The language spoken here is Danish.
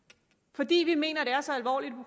fordi vi mener at det er så alvorligt